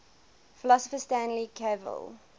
philosopher stanley cavell